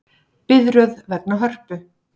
Biðröð vegna Hörpu